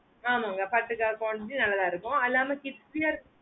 ஆமாங்க பாட்டுக்கா quantity நல்லாத்தான் இருக்கும் அல்லாமா thickier